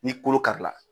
Ni kolo kari la